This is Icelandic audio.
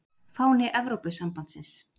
Fáni Evrópusambandsins.